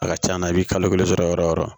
A ka ca la i bi kalo kelen sɔrɔ yɔrɔ yɔrɔ